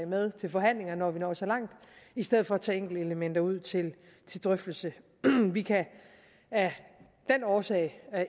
med til forhandlingerne når vi når så langt i stedet for at tage enkeltelementer ud til drøftelse vi kan af den årsag